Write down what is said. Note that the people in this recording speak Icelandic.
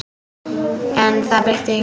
En það breytti engu.